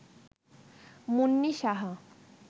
Munni Saha